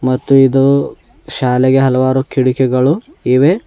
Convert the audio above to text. ಮತ್ತು ಇದು ಶಾಲೆಗೆ ಹಲವಾರು ಕಿಡಕಿಗಳು ಇವೆ.